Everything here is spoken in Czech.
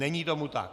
Není tomu tak.